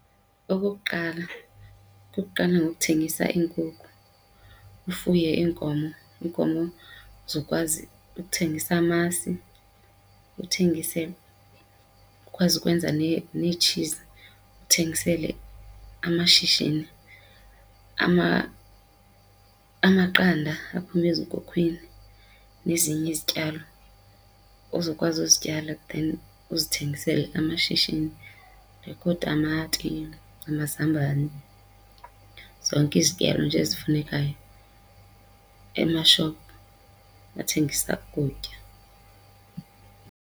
Okokuqala, kukuqala ngokuthengisa iinkukhu, ufuye iinkomo. Iinkomo uzokwazi ukuthengisa amasi uthengise, ukwazi ukwenza neetshizi. Uthengisele amashishini amaqanda aphuma ezinkukhwini, nezinye izityalo ozokwazi uzityala then uzithengisele amashishini like ootamati, amazambane, zonke izityalo nje ezifunekayo emashophu athengisa ukutya.